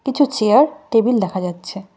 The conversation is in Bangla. কিছু চেয়ার টেবিল দেখা যাচ্ছে।